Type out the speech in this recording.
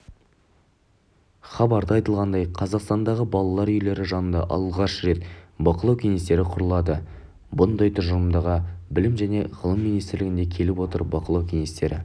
хабарда айтылғандай қазақстандағы балалар үйлері жанында алғаш рет бақылау кеңестері құрылады мұндай тұжырымға білім және ғылым министрлігінде келіп отыр бақылау кеңестері